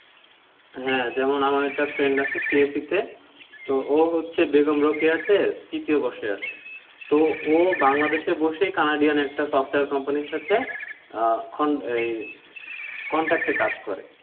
হ্যাঁ, যেমন আমার একটা friend আছে CSE তে, তো ও হচ্ছে বেগম রোকেয়া তে তৃতীয় বর্ষে আছে, তো ও বাংলাদেশে বসেই Canadian একটা software company র সাথে আহ ওই contact এ কাজ করে।